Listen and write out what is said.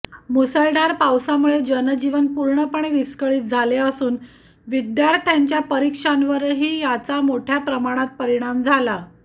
मुसळधार पावसामुळे जनजीवन पूर्णपणे विस्कळीत झाले असून विद्यार्थ्यांच्या परीक्षांवरही याचा मोठ्या प्रमाणात परिणाम झाला